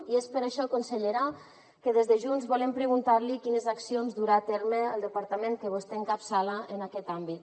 i és per això consellera que des de junts volem preguntar li quines accions durà a terme el departament que vostè encapçala en aquest àmbit